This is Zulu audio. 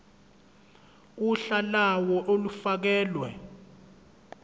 uhla lawo olufakelwe